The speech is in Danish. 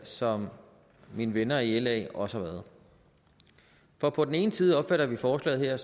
som mine venner i la også har været for på den ene side opfatter vi forslaget her